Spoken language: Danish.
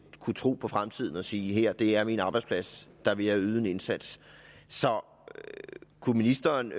kunne tro på fremtiden og sige det her er min arbejdsplads her vil jeg yde en indsats så kunne ministeren